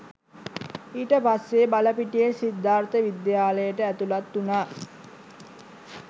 ඊට පස්සේ බලපිටියේ සිද්ධාර්ථ විද්‍යාලයට ඇතුළත් වුණා